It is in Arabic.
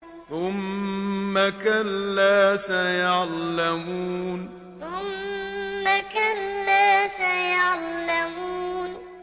ثُمَّ كَلَّا سَيَعْلَمُونَ ثُمَّ كَلَّا سَيَعْلَمُونَ